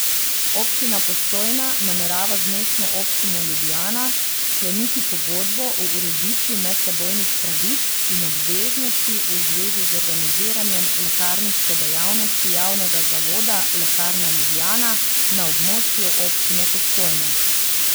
Občina Postojna namerava z Mestno občino Ljubljana skleniti pogodbo o ureditvi medsebojnih pravic in obveznosti v zvezi z organiziranjem lekarniške dejavnosti javnega zavoda Lekarna Ljubljana na območju Občine Postojna.